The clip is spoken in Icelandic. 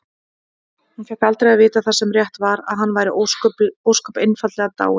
Hún fékk aldrei að vita það sem rétt var: að hann væri ósköp einfaldlega dáinn.